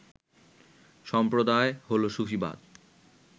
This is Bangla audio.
সম্প্রদায় হল সুফিবাদ